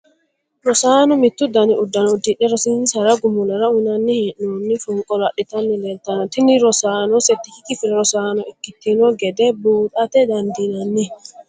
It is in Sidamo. rosaano mittu dani uddano uddidhe rosonsinsa gumulora uyiinanni hee'noonni fonqolo adhitanni leeltanno, tini rosaano settikki kifile rosaano ikkitino gede buuxate dandiinanni.